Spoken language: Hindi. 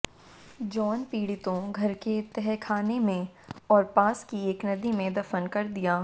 जॉन पीड़ितों घर के तहखाने में और पास की एक नदी में दफन कर दिया